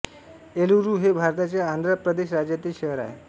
एलुरू हे भारताच्या आंध्र प्रदेश राज्यातील शहर आहे